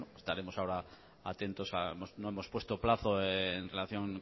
estaremos ahora atentos a no hemos puesto plazo en relación